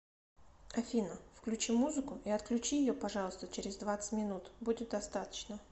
афина включи музыку и отключи ее пожалуйста через двадцать минут будет достаточно